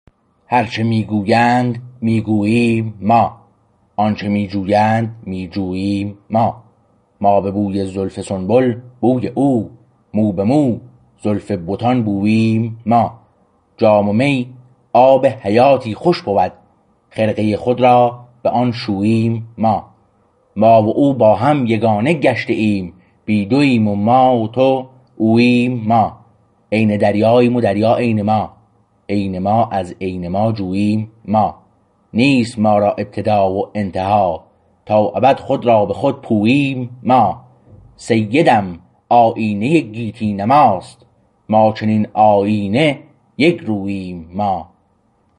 هرچه می گویند می گوییم ما آنچه می جویند می جوییم ما ما به بوی زلف سنبل بوی او مو به مو زلف بتان بوییم ما جام می آب حیاتی خوش بود خرقه خود را به آن شوییم ما ما و او با هم یگانه گشته ایم بی دوییم و ما و تو اوییم ما عین دریاییم و دریا عین ما عین ما از عین ما جوییم ما نیست ما را ابتدا و انتها تا ابد خود را به خود پوییم ما سیدم آیینه گیتی نماست ما چنین آیینه یک روییم ما